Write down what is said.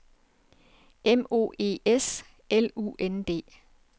M O E S L U N D